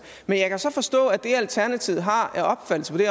men jeg kan så forstå at det alternativet har af opfattelse på det